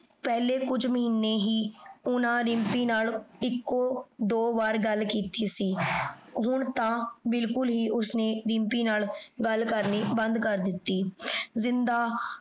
ਪਹਲੇ ਕੁਜ ਮਹੀਨੇ ਹੀ ਓਹਨਾਂ ਰਿਮ੍ਪੀ ਨਾਲ ਏਇਕੋ ਦੋ ਵਾਰ ਗਲ ਕੀਤੀ ਸੀ ਹੁਣ ਤਾਂ ਬਿਲਕੁਲ ਹੀ ਓਸਨੇ ਦਿਮ੍ਪੀ ਨਾਲ ਗਲ ਕਰਨੀ ਬੰਦ ਕਰ ਦਿਤੀ ਜਿੰਦਾ